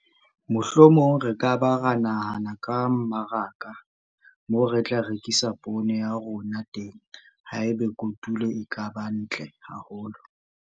Mohlomong re ka ba ra nahana ka mmaraka moo re tla rekisa poone ya rona teng haeba kotulo e ka ba ntle haholo!